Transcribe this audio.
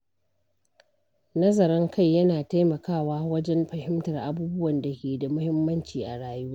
Nazarin kai yana taimakawa wajen fahimtar abubuwan da ke da muhimmanci a rayuwa.